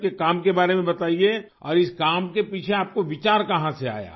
اپنے کام کے بارے میں بتایئے اور اس کام کے پیچھے آپ کو خیال کہاں سے آیا؟